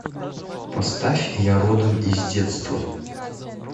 поставь я родом из детства